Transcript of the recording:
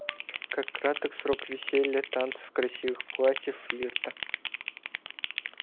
как краток срок веселья танцев красивых платьев флирта